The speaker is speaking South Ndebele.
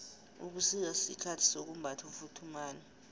ubusika sikhathi sokumbatha ufuthumale